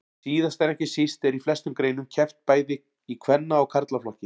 Síðast en ekki síst er í flestum greinum keppt bæði í kvenna og karlaflokki.